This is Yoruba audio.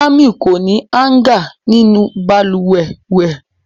Jamiu ko ni hanga ninu baluwe rẹ.